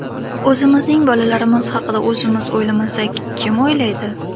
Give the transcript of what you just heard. O‘zimizning bolalarimiz haqida o‘zimiz o‘ylamasak, kim o‘ylaydi?